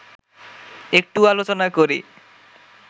একটু আলোচনা করি